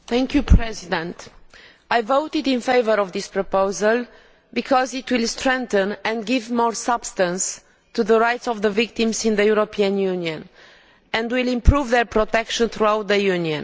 Mr President, I voted in favour of this proposal because it will strengthen and give more substance to the rights of the victims in the European Union and will improve their protection throughout the Union.